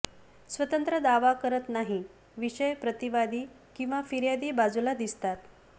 स्वतंत्र दावा करत नाही विषय प्रतिवादी किंवा फिर्यादी बाजूला दिसतात